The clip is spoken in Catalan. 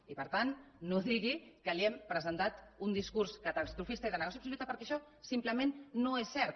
i per tant no digui que li hem presentat un discurs catastrofista i de negació absoluta perquè això simplement no és cert